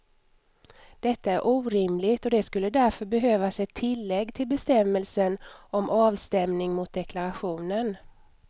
Detta är orimligt och det skulle därför behövas ett tillägg till bestämmelsen om avstämning mot deklarationen.